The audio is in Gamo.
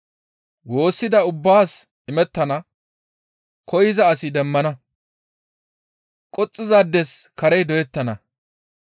Woossida ubbaas imettana; koyza asi demmana; qoxxizaades karey doyettana.